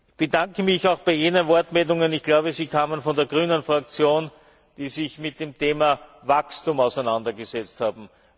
Ich bedanke mich auch für jene Wortmeldungen ich glaube, sie kamen von der Fraktion der Grünen die sich mit dem Thema Wachstum auseinandergesetzt haben.